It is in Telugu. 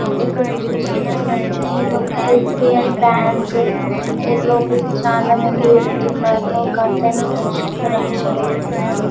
ఇక్కడ చూసుకోన్నట్లయితే ఇదొక యస్ బి ఐ బ్యాంక్ లోపల చాలా మంది వెళ్తునారు ఒక అతను నడుచుకొంటూ రైట్ సైడ్ వెళ్తునాడు.